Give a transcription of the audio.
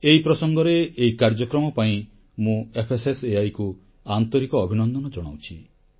ଏହି ପ୍ରସଙ୍ଗରେ ଏହି କାର୍ଯ୍ୟକ୍ରମ ପାଇଁ ମୁଁ FSSAIକୁ ଆନ୍ତରିକ ଅଭିନନ୍ଦନ ଜଣାଉଛି